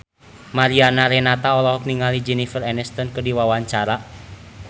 Mariana Renata olohok ningali Jennifer Aniston keur diwawancara